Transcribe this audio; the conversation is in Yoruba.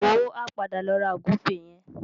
Wò ó, a padà lọ ra ògúnfe yẹn.